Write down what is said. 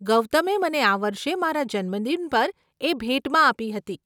ગૌતમે મને આ વર્ષે મારા જન્મદિન પર એ ભેટમાં આપી હતી.